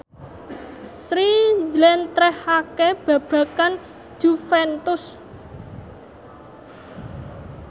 Sri njlentrehake babagan Juventus